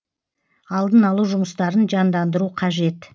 алдын алу жұмыстарын жандандыру қажет